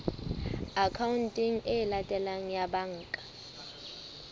akhaonteng e latelang ya banka